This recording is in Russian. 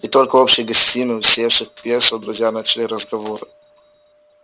и только в общей гостиной усевшись в кресла друзья начали разговор